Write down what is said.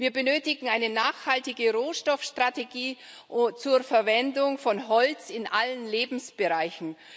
Wir benötigen eine nachhaltige Rohstoffstrategie zur Verwendung von Holz in allen Lebensbereichen.